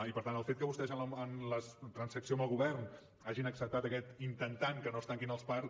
i per tant el fet que vostès en la transacció amb el govern hagin acceptat aquest intentant que no es tanquin els parcs